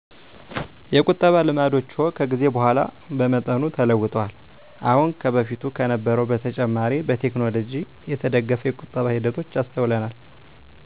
የቁጠባ ልማዶችዎ ከጊዜ በኋላ በመጠኑ ተለውጠዋል። አሁን ከበፊቱ ከነበረዉ በተጨማሬ በቴከኖሎጅው የተደገፈ የቁጠባ ሂደቶች አሰተውለናል።